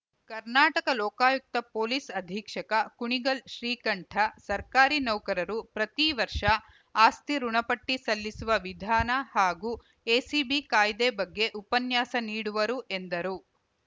Karnataka Lokayukta police ಅಧೀಕ್ಷಕ ಕುಣಿಗಲ್‌ ಶ್ರೀಕಂಠ ಸರ್ಕಾರಿ ನೌಕರರು ಪ್ರತಿ ವರ್ಷ ಆಸ್ತಿ ಋುಣಪಟ್ಟಿಸಲ್ಲಿಸುವ ವಿಧಾನ ಹಾಗೂ ಎಸಿಬಿ ಕಾಯ್ದೆ ಬಗ್ಗೆ ಉಪನ್ಯಾಸ ನೀಡುವರು ಎಂದರು